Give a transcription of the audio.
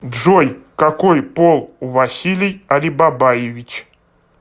джой какой пол у василий алибабаевич